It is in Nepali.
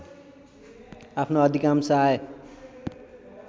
आफ्नो अधिकांश आय